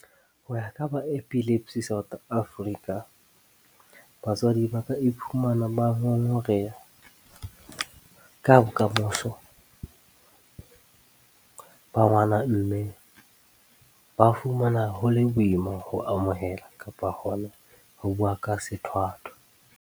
Ho ya ka ba Epilepsy South Africa, batswadi ba ka iphumana ba ngongoreha ka bokamoso ba ngwana mme ba fumana ho le boima ho amohela kapa hona ho bua ka sethwathwa.